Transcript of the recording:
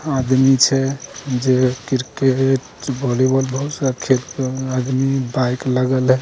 आदमी छे जे क्रिकेट वॉलीबॉल बहुत सारा खेल आदमी बाइक लगल है ।